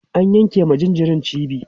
an yanke ma jinjirin cibi